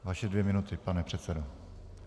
Vaše dvě minuty, pane předsedo.